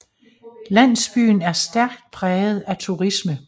Landsbyen er stærkt præget af turisme